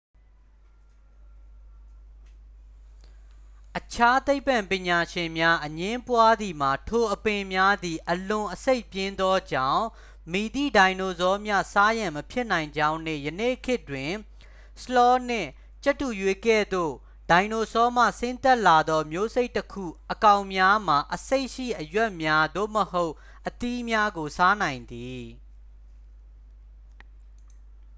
အခြားသိပ္ပံပညာရှင်များအငြင်းပွားသည်မှာ ထိုအပင်များသည် အလွန် အဆိပ်ပြင်းသောကြောင့် မည်သည့်ဒိုင်နိုဆောမျှ စားရန်မဖြစ်နိုင်ကြောင်းနှင့် ယနေ့ခေတ်တွင် ဆလော့နှင့် ကြက်တူရွေးကဲ့သို့ ဒိုင်နိုဆောမှဆင်းသက်လာသော မျိုးစိတ်တစ်ခု အကောင်များမှာ အဆိပ်ရှိ အရွက်များသို့မဟုတ် အသီးများကို စားနိုင်သည်။